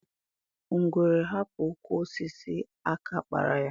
Ngwere hapụ ụkwụ osisi, aka a kpara ya.